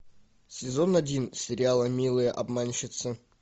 сезон один сериала милые обманщицы